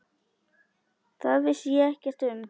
Það vissi ég ekkert um.